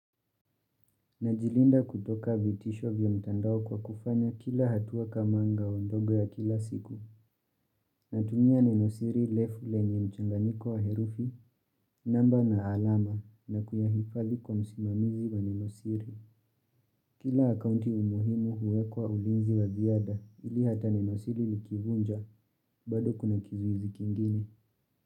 Najilinda kutoka vitisho vya mtandao kwa kufanya kila hatua kama ngao ndogo ya kila siku. Natumia nenosiri lefu lenye mchanganyiko wa herufi, namba na alama, na kuyahifadhi kwa msimamizi wa nenosiri. Kila akaunti umuhimu huwekwa ulinzi wa ziada ili hata nenosiri likivunja, bado kuna kizuizi kingine.